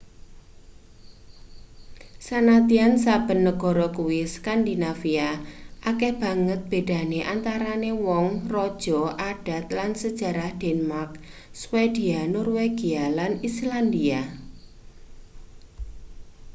sanadyan saben negara kuwi skandinavia' akeh banget bedane antarane wong raja adat lan sejarah denmark swedia norwegia lan islandia